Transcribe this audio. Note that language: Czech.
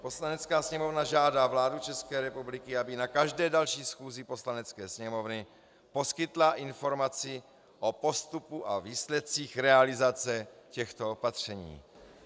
Poslanecká sněmovna žádá vládu České republiky, aby na každé další schůzi Poslanecké sněmovny poskytla informaci o postupu a výsledcích realizace těchto opatření."